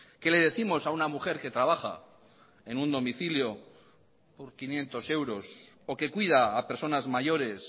qué le décimos a una mujer que trabaja en un domicilio por quinientos euros o que cuida a personas mayores